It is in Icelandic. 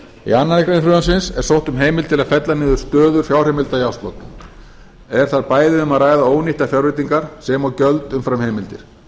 í annarri grein frumvarpsins er sótt um heimildir til að fella niður stöðu fjárheimilda í árslok er þar bæði um að ræða ónýttar fjárnýtingar sem og gjöld umfram heimildir